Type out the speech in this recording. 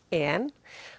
en